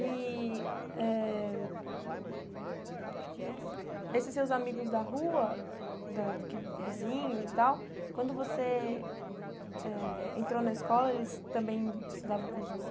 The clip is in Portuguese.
E eh esses seus amigos da rua, da que vizinhos e tal, quando você eh entrou na escola, eles também estudavam com você?